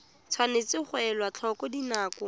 tshwanetse ga elwa tlhoko dinako